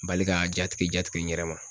Bali ka jatigɛ jatigɛ n yɛrɛ ma